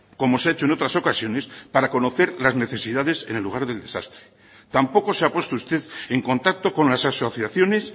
como se ha hecho en otras ocasiones para conocer las necesidades en el lugar del desastre tampoco se ha puesto usted en contacto con las asociaciones